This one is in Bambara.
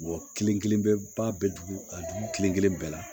kelen kelen bɛɛ ba bɛ dugu ka dugu kelen kelen bɛɛ la